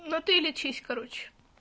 ну ты лечись короче